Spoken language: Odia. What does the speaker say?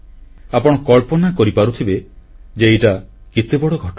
ଆପଣ କଳ୍ପନା କରିପାରୁଥିବେ ଯେ ଏଇଟା କେତେବଡ଼ ଘଟଣା